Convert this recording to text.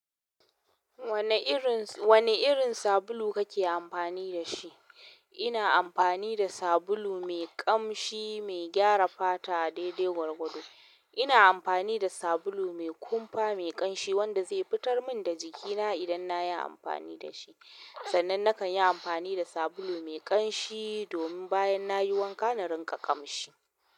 Wane irin, wane irin sabulu kake amfani da shi? Ina amfani da sabulu mai ƙamshi mai gyara fata daidai gwargwado. Ina amfani da sabulu mai kumfa mai ƙamshi wanda ke fitar min da jikina idan nayi amfani dashi sannan nakan yi amfani da sabulu mai ƙanshi domin bayan na yi wanka, na rinƙa ƙamshi.